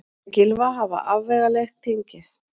Segir Gylfa hafa afvegaleitt þingið